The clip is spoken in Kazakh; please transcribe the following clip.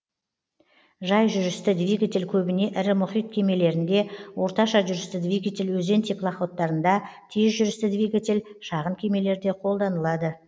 жай жүрісті двигатель көбіне ірі мұхит кемелерінде орташа жүрісті двигатель өзен теплоходтарында тез жүрісті двигатель шағын кемелерде қолданылады